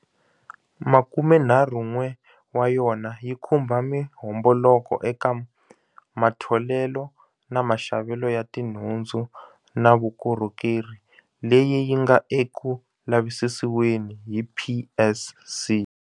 Makumenharhun'we ya yona yi khumba mihomboloko eka matholelo na maxavelo ya tinhundzu na vukorhokeri leyi yi nga eku lavisisiweni hi PSC.